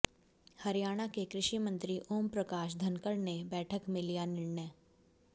हरियाणा के कृषि मंत्री ओम प्रकाश धनकड़ ने बैठक में लिया निर्णय